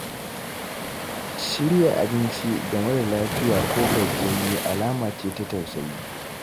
Shirya abinci ga mara lafiya ko gajiyayye alama ce ta tausayi.